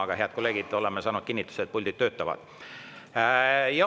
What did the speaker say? Aga, head kolleegid, oleme saanud kinnituse, et puldid töötavad.